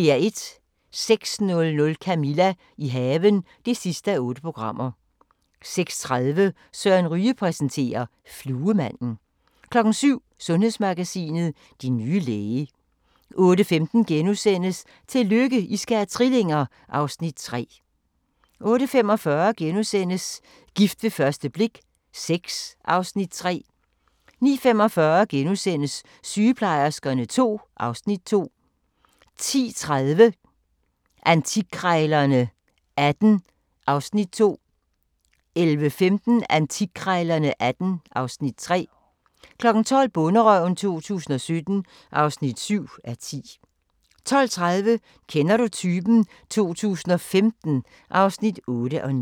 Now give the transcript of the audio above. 06:00: Camilla – i haven (8:8) 06:30: Søren Ryge præsenterer: Fluemanden 07:00: Sundhedsmagasinet: Din nye læge 08:15: Tillykke, I skal have trillinger! (Afs. 3)* 08:45: Gift ved første blik VI (Afs. 3)* 09:45: Sygeplejerskerne II (Afs. 2)* 10:30: Antikkrejlerne XVIII (Afs. 2) 11:15: Antikkrejlerne XVIII (Afs. 3) 12:00: Bonderøven 2017 (7:10) 12:30: Kender du typen? 2015 (8:9)